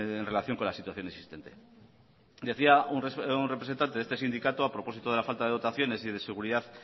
en relación con la situación existente decía un representante de este sindicato a propósito de la falta de dotaciones y de seguridad